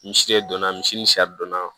Misiri donna misi ni donna